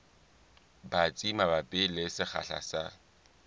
batsi mabapi le sekgahla sa